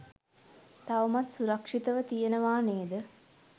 තවමත් සුරක්‍ෂිතව තියෙනවා නේද?